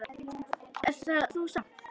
Er það nú samtal!